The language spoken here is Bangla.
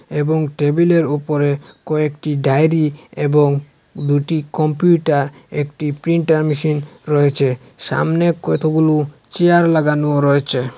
এবং টেবিলের উপরে কয়েকটি ডায়রী এবং দুটি কম্পিউটার একটি প্রিন্টার মেশিন রয়েছে সামনে কতগুলো চেয়ার লাগানো রয়েছে।